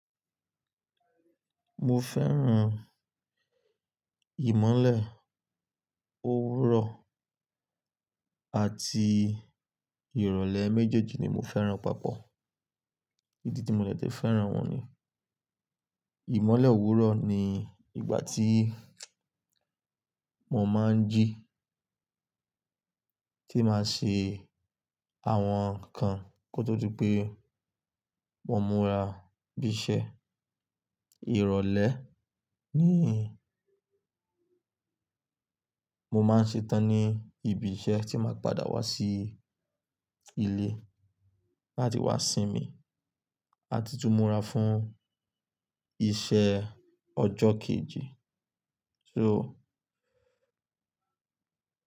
Mo fẹ́ràn ìmọ́lẹ̀ òwúrọ̀ àti ìrọ̀lẹ́ méjèèjì ni mo fẹ́ràn papọ̀. Idi tí mo dè tẹ fẹ́ràn wọn ni ìmọ́lẹ̀ òwúrọ̀ ni ìgbà tí mo máa ń jí, tí màá ṣe àwọn nǹkan kó tó di pé mo múra bísẹ. Ìrọ̀lẹ́ ni mo máa ń ṣe tán ní ibi iṣẹ́ tí màá padà wá sí ilé láti wá sinmi àti tú múra fún iṣẹ́ ọjọ́ kejì. So.